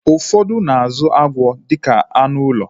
Ụfọdụ na-azụ agwọ dịka anụ ụlọ